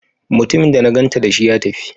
Mutumin da na ganta dashi, ya tafi?